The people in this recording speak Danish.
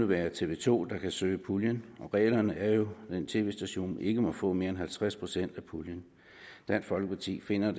være tv to der kan søge puljen og reglerne er jo at en tv station ikke må få mere end halvtreds procent af puljen dansk folkeparti finder at